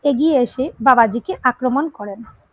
এগিয়ে এসে বাবাজী কে আক্রমন করেন।